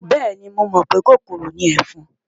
Bẹ́ẹ̀ni, mo mọ̀ pé kòkòrò ni ẹ̀fọn.